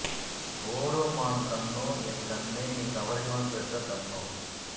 ஓடும் மான் கண்ணோ என் கண்ணே நீ கவரிமான் பெற்ற கண்ணோ